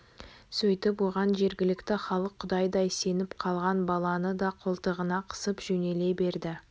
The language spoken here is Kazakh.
сөйтіп оған жергілікті халық құдайдай сеніп қалған баланы да қолтығына қысып жөнеле берді